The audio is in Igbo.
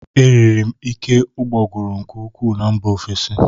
Eriri m ike ụgbọguru nke ukwuu na mba ofesi